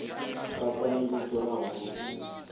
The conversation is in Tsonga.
katsa ni vito ra hosi